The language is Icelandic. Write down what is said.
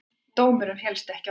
Dómurinn féllst ekki á þetta.